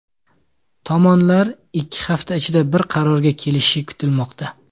Tomonlar ikki hafta ichida bir qarorga kelishi kutilmoqda.